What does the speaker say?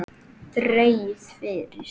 Dregið fyrir.